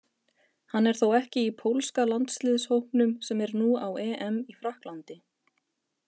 Hann er þó ekki í pólska landsliðshópnum sem er nú á EM í Frakklandi.